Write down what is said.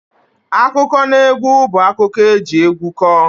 Akụkọnaegwu bụ akụkọ eji egwu kọọ